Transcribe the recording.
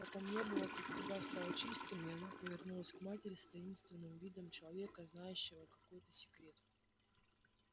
потом небо вокруг тебя стало чистым и она повернулась к матери с таинственным видом человека знающего какой-то секрет